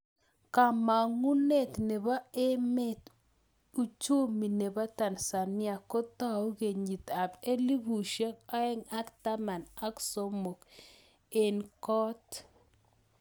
Kamang'unet nepoo emeet:ujumi nepoo Tanzania kotau kenyiit ap elfusiek oeng ak taman ak somok eng koot